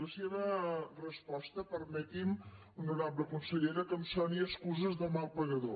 la seva resposta permeti’m honorable consellera que em soni a excuses de mal pagador